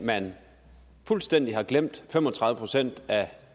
at man fuldstændig har glemt fem og tredive procent af